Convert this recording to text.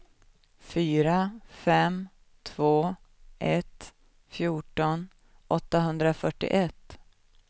fyra fem två ett fjorton åttahundrafyrtioett